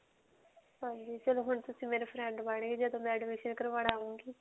ਹਾਂਜੀ. ਚਲੋ ਹੁਣ ਤੁਸੀਂ ਮੇਰੇ friend ਬਣਗੇ ਜਦੋਂ ਮੈਂ admission ਕਰਵਾਉਣ ਆਉਂਗੀ.